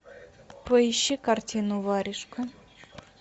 поищи картину варежка